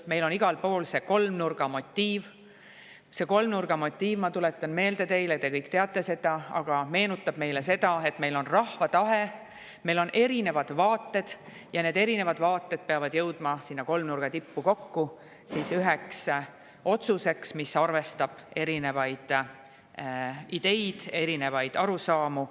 Meil on igal pool see kolmnurga motiiv, mis – te kõik teate seda, aga ma tuletan meelde – meenutab meile seda, et meil on rahva tahe, meil on erinevad vaated ja need erinevad vaated peavad jõudma selle kolmnurga tippu kokku üheks otsuseks, mis arvestab erinevaid ideid, erinevaid arusaamu.